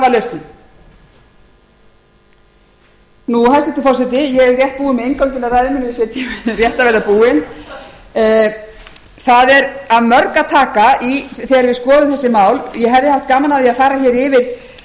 var lausnin hæstvirtur forseti ég er rétt búin með innganginn að ræðu minni og sé að tíminn er rétt að verða búinn það er af mörgu að taka þegar við skoðum